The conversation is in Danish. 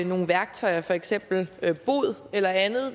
nogle værktøjer for eksempel bod eller andet